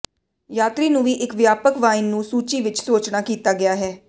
ਯਾਤਰੀ ਨੂੰ ਵੀ ਇੱਕ ਵਿਆਪਕ ਵਾਈਨ ਨੂੰ ਸੂਚੀ ਵਿੱਚ ਸੋਚਣਾ ਕੀਤਾ ਗਿਆ ਹੈ